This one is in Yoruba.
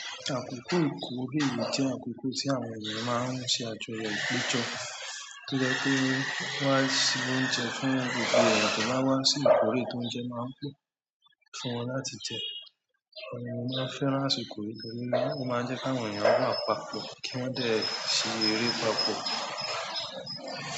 Àkókò ìkórè jẹ́ àkókò tí àwọn èèyàn máa ń ṣe àjọyọ̀ ìpéjọ́, tó jẹ́ pé wọ́n á ṣe oúnjẹ fún gbogbo ènìyàn tó bá wá sí ìkórè, tóúnjẹ máa ń pọ̀ fún wọn láti jẹ. Òun ni mo máa ń fẹ́ràn àsìkò yìí torí, ó máa ń jẹ́ kí àwọn ènìyàn wà papọ̀ kí wọ́n dẹ̀ ṣe eré papọ̀.